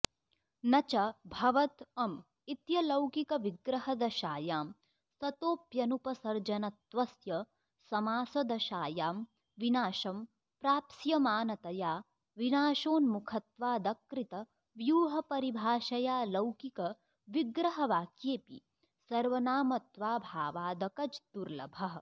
नच भवत् अम् इत्यलौकिकविग्रहदशायां सतोऽप्यनुपसर्जनत्वस्य समासदशायां विनाशं प्राप्स्यमानतया विनाशोन्मुखत्वादकृतव्यूहपरिभाषयाऽलौकिकविग्रहवाक्येऽपि सर्वनामत्वाऽभावादकज्दुर्लभः